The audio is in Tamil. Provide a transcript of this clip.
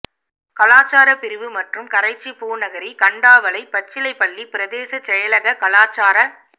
கலாசாரப் பிரிவு மற்றும் கரைச்சி பூநகரி கண்டாவளை பச்சிலைப்பள்ளி பிரதேச செயலக கலாசாரப்